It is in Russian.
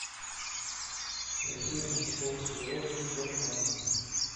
афина псковская область тербанк